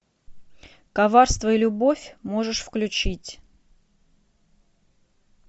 коварство и любовь можешь включить